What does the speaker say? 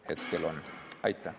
Aitäh!